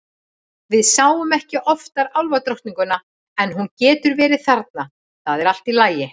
Við sjáum ekki oftar álfadrottninguna en hún getur verið þarna, það er allt í lagi.